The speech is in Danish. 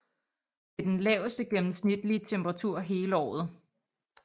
Det er den laveste gennemsnitlige temperatur hele året